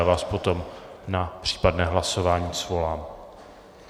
Já vás potom na případné hlasování svolám.